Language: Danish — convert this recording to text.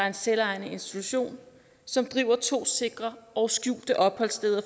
en selvejende institution som driver to sikre og skjulte opholdssteder